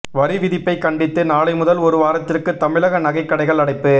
வரி விதிப்பை கண்டித்து நாளை முதல் ஒரு வாரத்திற்கு தமிழக நகைக் கடைகள் அடைப்பு